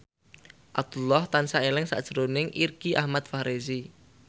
Abdullah tansah eling sakjroning Irgi Ahmad Fahrezi